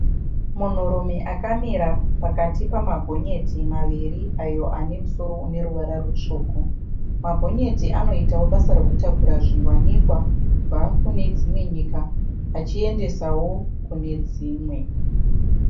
Munhurume akamira pakati pemagonyeti maviri ayo anemusoro uneruvara mutsvuku. Magonyeti anoitawo basa rekutakura zviwanikwa kubva kunedzimwe nyika achiendesawo kunedzimwe.